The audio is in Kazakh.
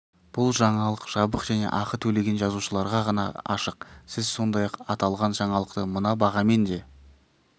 бұл жаңалық жабық және ақы төлеген жазылушыларға ғана ашық сіз сондай-ақ аталған жаңалықты мына бағамен де